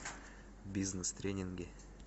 бизнес тренинги